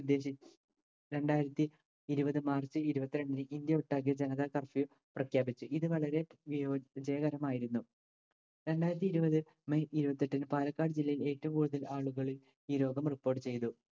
ഉദ്ദേശി രണ്ടായിരത്തി ഇരുപത് മാർച്ച് ഇരുപത്രണ്ടിന്‌ ഇന്ത്യ ഒട്ടാകെ ജനത curfew പ്രഖ്യാപിച്ചു. ഇത് വളരെ വിയോ വിജയകരമായിരുന്നു. രണ്ടായിരത്തി ഇരുപത് മെയ് ഇരുപത്തെട്ടിന് പാലക്കാട് ജില്ലയിൽ ഏറ്റവും കൂടുതൽ ആളുകളിൽ ഈ രോഗം report ചെയ്തു.